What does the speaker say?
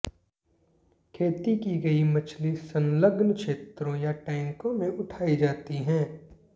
खेती की गई मछली संलग्न क्षेत्रों या टैंकों में उठाई जाती है